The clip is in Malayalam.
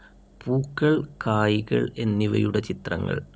പൂക്കൾ, കായ്‌കൾ എന്നിവയുടെ ചിത്രങ്ങൾ